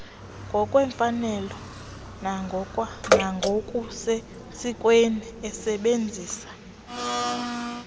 ngokwemfanelo nangokusesikweni esebenzisa